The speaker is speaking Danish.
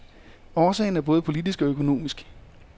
Årsagen er både politisk og økonomisk.